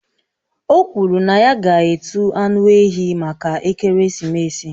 O kwuru na ya ga-etu anụ ehi maka ekeresimesi